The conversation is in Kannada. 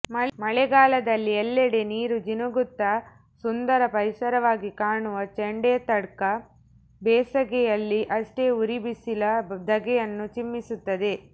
ಮಳೆಗಾಲದಲ್ಲಿ ಎಲ್ಲೆಡೆ ನೀರು ಜಿನುಗುತ್ತಾ ಸುಂದರ ಪರಿಸರವಾಗಿ ಕಾಣುವ ಚೆಂಡೆತ್ತಡ್ಕ ಬೇಸಗೆಯಲ್ಲಿ ಅಷ್ಟೇ ಉರಿಬಿಸಿಲ ಧಗೆಯನ್ನೂ ಚಿಮ್ಮಿಸುತ್ತಿದೆ